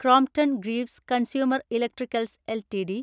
Crompton Greaves consumer electricals LTD